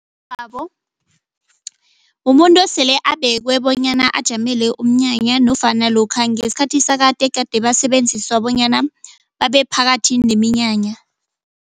Mumuntu osele abekwe bonyana ajamele umnyanya nofana lokha ngesikhathi sakade egade basebenziswa bonyana babe phakathi neminyanya.